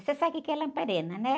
Você sabe o que é lamparina, né?